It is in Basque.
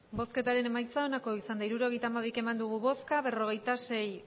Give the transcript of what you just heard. hirurogeita hamabi eman dugu bozka berrogeita sei